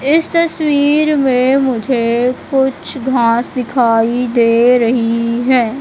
इस तस्वीर में मुझे कुछ घास दिखाई दे रही है।